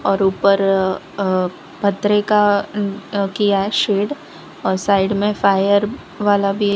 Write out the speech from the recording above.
और ऊपर अह पतरे का अह किया है शेड और साइड में फायर वाला भी--